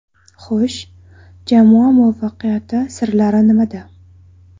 Xo‘sh, jamoa muvaffaqiyati sirlari nimada?